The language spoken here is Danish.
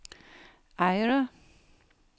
Eyre